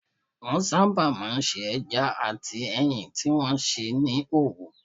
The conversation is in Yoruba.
Wọ́n sábà máa ń se ẹja àti ẹyin tí wọ́n sè ní òwú